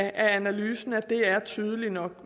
analysen at det er tydeligt nok